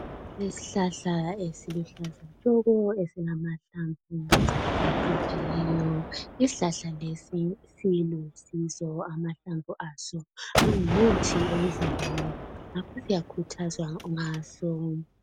Izihlahla eziluhlaza tshoko! Esilamahlamvu acijileyo. Isihlahla lesi, silusizo. Amahlamvu aso, angumuthi emzimbeni. Ngakho siyakhuthazwa ngaso.